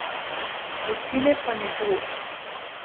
Večine pa ne bo.